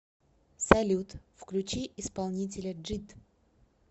салют включи исполнителя джид